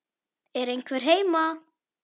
Er einhver heima?